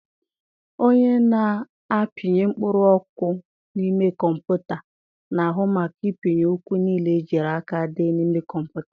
Onye na-apịnye mkpụrụ okwu n'ime Kọmputa na-ahụ maka ịpịnye okwu nile ejiri aka dee n'ime Kọmputa.